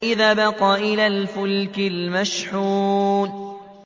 إِذْ أَبَقَ إِلَى الْفُلْكِ الْمَشْحُونِ